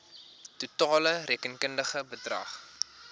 totale rekenkundige bedrag